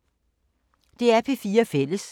DR P4 Fælles